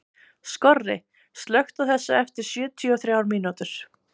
Skorri, slökktu á þessu eftir sjötíu og þrjár mínútur.